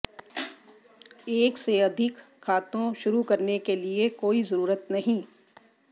एक से अधिक खातों शुरू करने के लिए कोई ज़रूरत नहीं